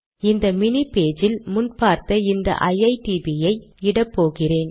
இந்த மினி பக்கத்தில் முன் பார்த்த இந்த ஐடிபி யை இடப்போகிறேன்